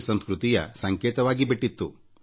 P ಸಂಸ್ಕೃತಿಯ ಸಂಕೇತವಾಗಿಬಿಟ್ಟಿತ್ತು